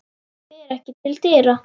Fer ekki til dyra.